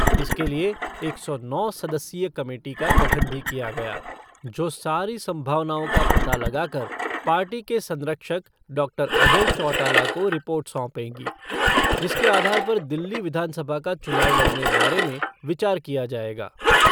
इसके लिए एक सौ नौ सदस्यीय कमेटी का गठन भी किया गया जो सारी संभावनाओं का पता लगा करके पार्टी के संरक्षक डॉक्टर अजय चौटाला को रिपोर्ट सौंपेगी जिसके आधार पर दिल्ली विधानसभा का चुनाव लड़ने बारे में विचार किया जायेगा।